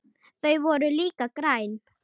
Þau voru líka græn.